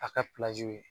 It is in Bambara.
A ka ye